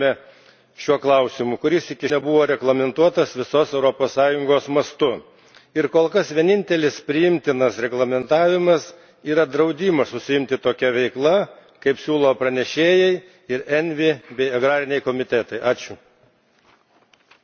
Labai gerai, kad diskutuojame šiuo klausimu, kuris iki šiol nebuvo reglamentuotas visos Europos Sąjungos mastu, ir kol kas vienintelis priimtinas reglamentavimas yra draudimas užsiimti tokia veikla, kaip siūlo pranešėjai ir ENVI bei agrariniai komitetai.